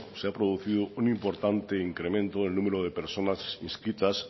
se ha producido un importante incremento en el número de personas inscritas